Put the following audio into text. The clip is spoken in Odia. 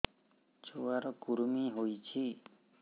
ଛୁଆ ର କୁରୁମି ହୋଇଛି